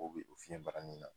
O bɛ o fiyɛn bara nin na.